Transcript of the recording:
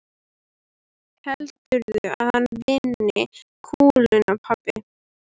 Heldurðu að hann vinni kúluna pabbi?